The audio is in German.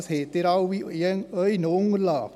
Das finden Sie in Ihren Unterlagen.